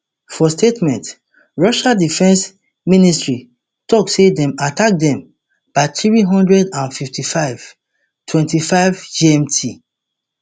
for statement russia defence ministry tok say dem attack dem by three hundred and twenty-five twenty-five gmt